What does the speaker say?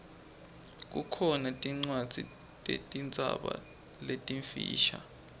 kukhona tincwadzi tetinzaba letimfisha